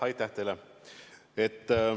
Aitäh teile!